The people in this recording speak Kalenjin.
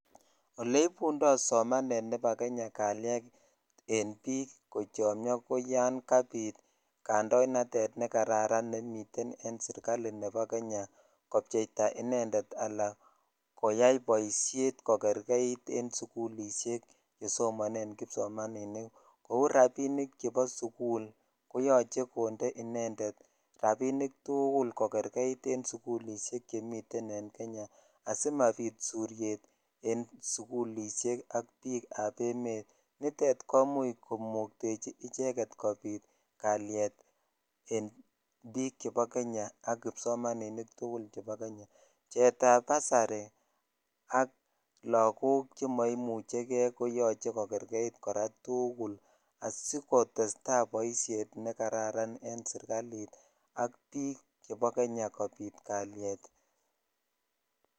Ole ipundo somanet nepo kenya kalyet enbiik kochomio koyoon kabit kandoinatet nekaran nemiten en sirkali nepo kenya kopcheita inendet anan koyai boshet kokerkeit en sugulishek chesomonen kipsomaninik kou rapinik chepo sugul koyoche konde inendet rapinik tugul kokerkeit en sugulishek tugul chemiten en kenya asimapit suriet en sugulishek ak biikap emet nitet komuch komuktechi icheket kobit en biik chepo kenya ak kipsomaninik tugul chepo kenya pcheet ab basari ak lagok chemoimuche gee koyoche kokerkeit kora tugul askotesta boishet nekararan en sirkali ak biik chepo kenya kobit kaliet.